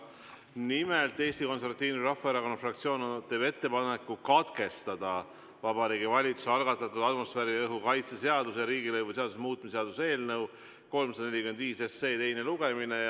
Nimelt, Eesti Konservatiivse Rahvaerakonna fraktsioon teeb ettepaneku katkestada Vabariigi Valitsuse algatatud atmosfääriõhu kaitse seaduse ja riigilõivuseaduse muutmise seaduse eelnõu 345 teine lugemine.